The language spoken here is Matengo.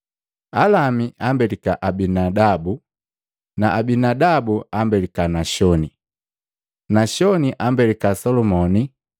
Alami ambelika Aminadabu na Aminadabu ambelika Nashoni na Nashoni ambelika Salumoni,